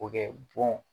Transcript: O kɛ bon